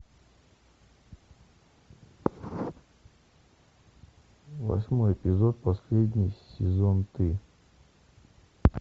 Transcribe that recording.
восьмой эпизод последний сезон ты